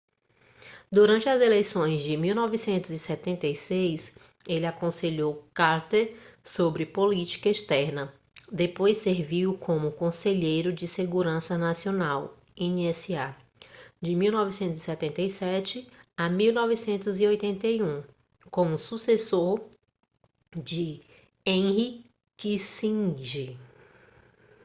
durante as eleições de 1976 ele aconselhou carter sobre política externa depois serviu como conselheiro de segurança nacional nsa de 1977 a 1981 como sucessor de henry kissinger